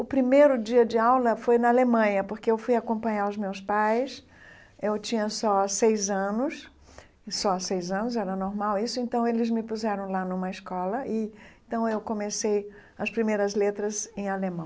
O primeiro dia de aula foi na Alemanha, porque eu fui acompanhar os meus pais, eu tinha só seis anos, só seis anos, era normal isso, então eles me puseram lá numa escola, e então eu comecei as primeiras letras em alemão.